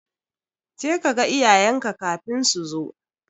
Jeka kaga iyayenka kafin so zo.